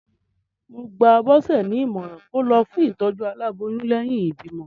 Mo gba Bọse ní ìmọ̀ràn kó lọ fún ìtòjú aláboyún lẹ́yìn ìbímọ.